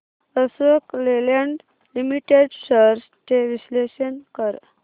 Ashok Leyland limited shares चे विश्लेषण कर